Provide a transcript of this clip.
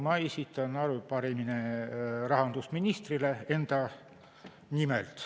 Ma esitan enda nimel arupärimise rahandusministrile.